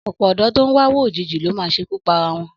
Ọ̀pọ̀ ọ̀dọ́ tó ń wáwó òjijì ló máa ṣekú para wọn.